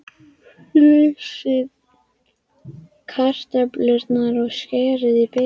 Flysjið kartöflurnar og skerið í bita.